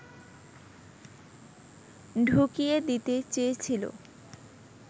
ঢুকিয়ে দিতে চেয়েছিলো